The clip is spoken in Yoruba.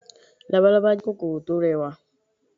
Labalálá jẹ́ kòkòrò tó rẹwà